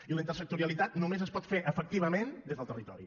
i la intersectorialitat només es pot fer efectivament des del territori